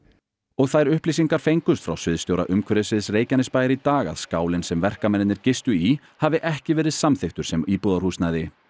og þær upplýsingar fengust frá sviðsstjóra umhverfissviðs Reykjanesbæjar í dag að skálinn sem verkamennirnir gistu í hafi ekki verið samþykktur sem íbúðarhúsnæði